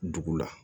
Dugu la